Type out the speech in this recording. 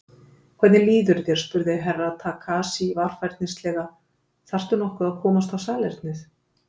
Hvernig líður þér spurði Herra Takashi varfærnislega, þarftu nokkuð að komast á salernið?